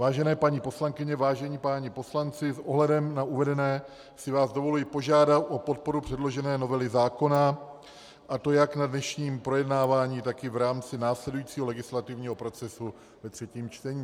Vážené paní poslankyně, vážení páni poslanci, s ohledem na uvedené si vás dovoluji požádat o podporu předložené novely zákona, a to jak na dnešním projednávání, tak i v rámci následujícího legislativního procesu ve třetím čtení.